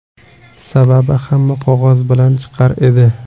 Sababi hamma qog‘oz bilan chiqar edi.